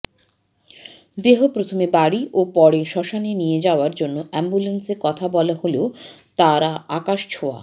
দেহ প্রথমে বাড়ি ও পরে শ্মশানে নিয়ে যাওয়ার জন্য অ্যাম্বুলেন্সে কথা বলা হলেও তাঁরা আকাশছোঁয়া